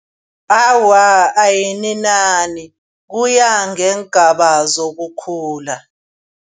Awa ayininani kuya ngeengaba sokukhula.